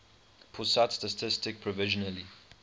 pusat statistik provisionally